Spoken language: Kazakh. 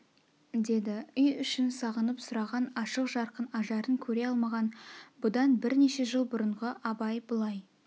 деді үй ішін сағынып сұраған ашық жарқын ажарын көре алмаған бұдан бірнеше жыл бұрынғы абай бұлай